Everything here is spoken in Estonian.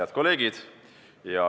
Head kolleegid!